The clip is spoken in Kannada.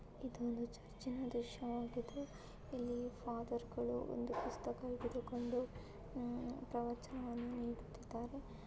ಇದು ಒಂದು ಚರ್ಚಿನ ದೃಶ್ಯವಾಗಿದೆ ಇಲ್ಲಿ ಫಾದರ್ ಗಳು ಒಂದು ಪುಸ್ತಕ ಹಿಡಿದುಕೊಂಡು ಪ್ರವಚನವನ್ನು ನೀಡುತ್ತಿದ್ದಾರೆ.